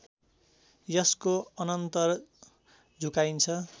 यसको अनन्तर झुकाइन्छ